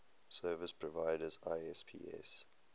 service providers isps